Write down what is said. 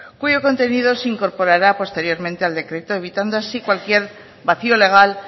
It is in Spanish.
cuyo contenido se incorporará posteriormente al decreto evitando así cualquier vacío legal